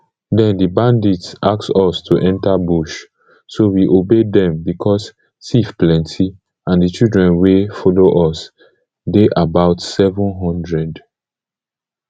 den di bandits ask us to enta bush so we obey dem becos tiff plenty and di children wey follow us dey about seven hundred